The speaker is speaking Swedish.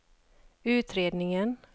utredningen